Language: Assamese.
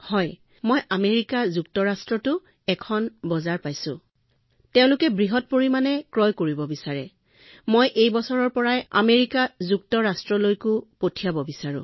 হয় মই আমেৰিকা যুক্তৰাষ্ট্ৰৰ পৰাও এখন বজাৰ লাভ কৰিছো তেওঁলোকে বৃহৎ পৰিমাণে ক্ৰয় কৰিব বিচাৰে কিন্তু মই এই বছৰৰ পৰাই আমেৰিকা যুক্তৰাষ্ট্ৰলৈ পঠিয়াব বিচাৰো